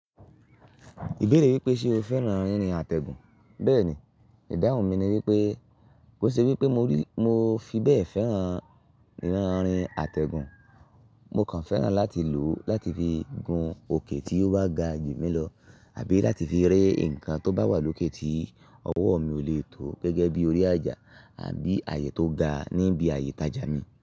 Ìbéèrè wípé ṣe o fẹ́ràn ririn àtẹ̀gùn. Bẹ́ẹ̀ni, ìdáhùn mi ni wípé, kó ṣe wípé mo fi bẹ́ẹ̀ fẹ́ràn irin àtẹ̀gùn, mo kàn fẹ́ràn láti lò ó láti fi gun òkè tí ó bá ga jù mí lọ àbí láti fi ré nǹkan tó bá wà lókè tí ọwọ́ mi ò lè tó gẹ́gẹ́ bí i orí àjà àbí ààyè tó ga níbi ààyè ìtajà mi.